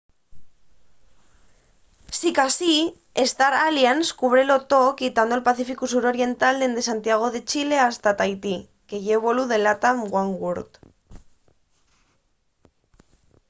sicasí star alliance cúbrelo too quitando’l pacíficu sur oriental dende santiago de chile fasta tahití que ye vuelu de latam oneworld